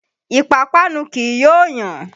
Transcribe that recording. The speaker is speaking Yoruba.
Ìpápánu kì í yó yàn.